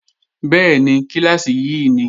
Bẹ́ẹ̀ni, kíláàsì yí ni